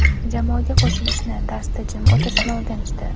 Jamoaga qo‘shilishni, darsda jim o‘tirishni o‘rganishdi.